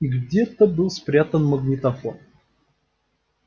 и где-то был спрятан магнитофон